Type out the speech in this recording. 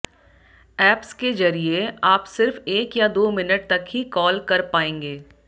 apps के जरिए आप सिर्फ एक या दो मिनट तक ही कॉल कर पाएंगे